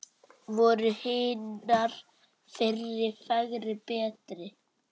Voru hinar fyrri fegri, betri?